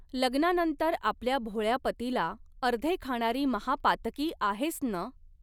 लग्नानंतर आपल्या भोळ्या पतीला अर्धे खाणारी महापातकी आहेस नं